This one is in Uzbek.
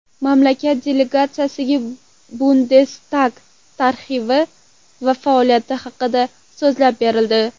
Mamlakat delegatsiyasiga Bundestag tarixi va faoliyati haqida so‘zlab berildi.